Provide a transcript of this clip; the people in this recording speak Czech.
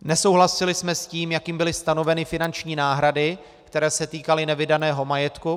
Nesouhlasili jsme s tím, jak byly stanoveny finanční náhrady, které se týkaly nevydaného majetku.